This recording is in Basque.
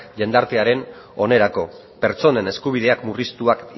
jendartearen onerako pertsonen eskubideak murriztuak